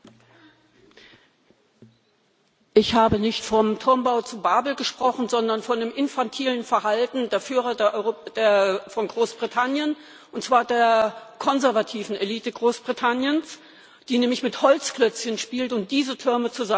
Ich habe nicht vom Turmbau zu Babel gesprochen, sondern von dem infantilen Verhalten der Führer von Großbritannien, und zwar der konservativen Elite Großbritanniens, die nämlich mit Holzklötzchen spielt und diese Türme zusammenschmeißt und sich dann darüber freut.